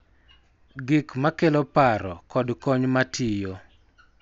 Gik ma kelo paro, kod kony ma tiyo.